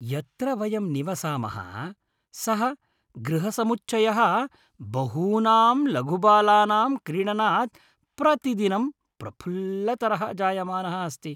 यत्र वयं निवसामः सः गृहसमुच्चयः बहूनां लघुबालानां क्रीडनात् प्रतिदिनं प्रफुल्लतरः जायमानः अस्ति।